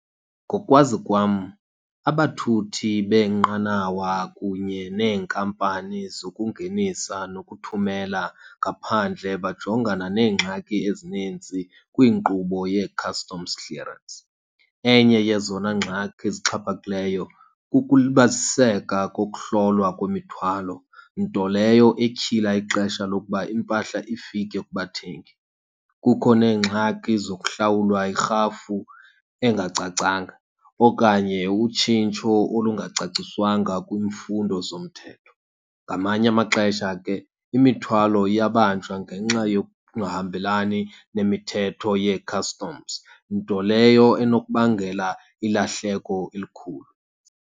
Ngokwazi kwam abathuthi beenqanawa kunye neenkampani zokungenisa nokuthumela ngaphandle bajongana neengxaki ezininzi kwinkqubo yee-customs clearance. Enye yezona ngxaki zixhaphakileyo kukulibaziseka kokuhlolwa kwemithwalo, nto leyo etyhila ixesha lokuba impahla ifike kubathengi. Kukho neengxaki zokuhlawulwa irhafu engacacanga okanye utshintsho olungacaciswanga kwiimfundo zomthetho. Ngamanye amaxesha ke imithwalo iyabanjwa ngenxa yokungahambelani nemithetho yee-customs, nto leyo enokubangela ilahleko elikhulu.